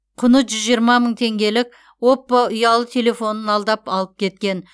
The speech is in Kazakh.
құны жүз жиырма мың теңгелік оппо ұялы телефонын алдап алып кеткен